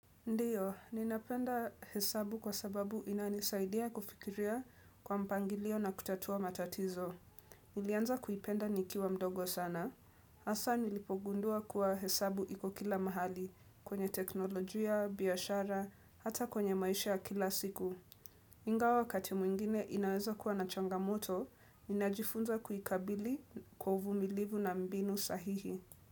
Ndio, ninapenda hesabu kwa sababu inanisaidia kufikiria kwa mpangilio na kutatua matatizo. Nilianza kuipenda nikiwa mdogo sana. Hasa nilipogundua kuwa hesabu iko kila mahali kwenye teknolojia, biashara, hata kwenye maisha ya kila siku. Ingawa wakati mwingine inaweza kuwa na changamoto, ninajifunza kuikabili kwa uvumilivu na mbinu sahihi.